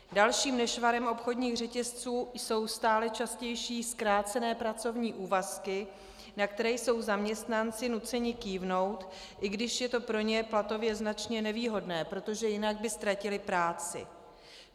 Dalším nešvarem obchodních řetězců jsou stále častější zkrácené pracovní úvazky, na které jsou zaměstnanci nuceni kývnout, i když je to pro ně platově značně nevýhodné, protože jinak by ztratili práci.